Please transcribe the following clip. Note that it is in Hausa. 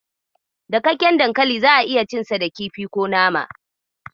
Dakakken dankali za'a iya cinsa da kifi ko nama.